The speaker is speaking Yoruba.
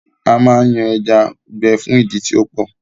A máa ń yan ẹja gbẹ fún ìdí tí ọ́pọ̀